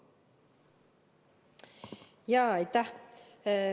Aitäh!